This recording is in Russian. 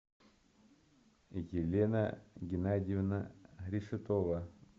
елена геннадьевна решетова